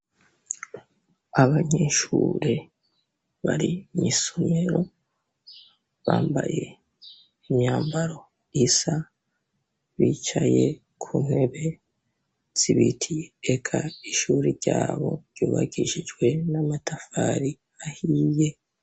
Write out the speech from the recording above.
Abanyeshure bari mw'isomero bambaye imyambaro isa, bicaye ku ntebe z'ibiti eka ishure ryabo ryubakishijwe n'amatafari ahiye.